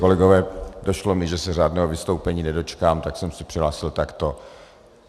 Kolegové, došlo mi, že se řádného vystoupení nedočkám, tak jsem se přihlásil takto.